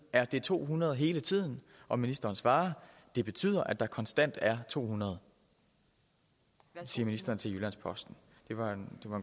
er det to hundrede hele tiden og ministeren svarer det betyder at der konstant er to hundrede det siger ministeren til jyllands posten det var en